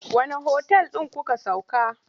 Wanne otal ɗin kuka sauka?